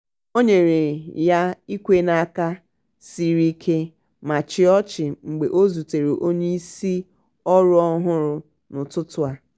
o nyere ya ikwe n'aka sịrị ike ma chịa ọchị mgbe o zutere onye isi ọrụ ọhụrụ n'ụtụtụ a.